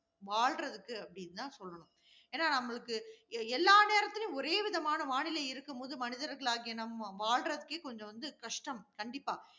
வாழ்றதுக்கு அப்படினு தான் சொல்லணும். ஏன்னா? நம்மளுக்கு எல்லா நேரத்திலும் ஒரே விதமான வானிலை இருக்கும்போது, மனிதர்களாகிய நாம் வாழ்றதற்கே கொஞ்சம் வந்து கஷ்டம். கண்டிப்பா,